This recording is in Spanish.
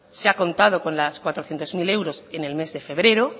se ha contado con los cuatrocientos mil euros en el mes de febrero